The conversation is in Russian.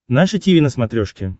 наше тиви на смотрешке